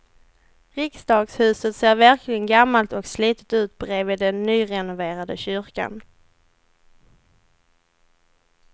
Riksdagshuset ser verkligen gammalt och slitet ut bredvid den nyrenoverade kyrkan.